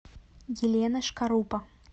елена шкарупа